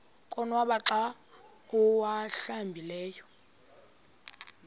konwaba xa awuhlambileyo